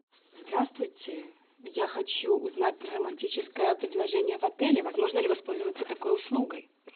здравствуйте я хочу узнать про романтическое предложение в отеле возможно ли воспользоваться такой услугой